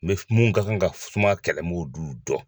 N me kuma mun ka kan ka tasuma kɛlɛ n m'o du dɔn